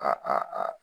A a a